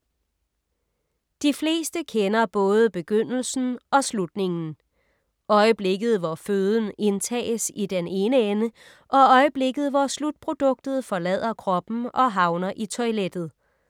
De fleste kender både begyndelsen og slutningen. Øjeblikket hvor føden indtages i den ene ende og øjeblikket hvor slutproduktet forlader kroppen og havner i toilettet.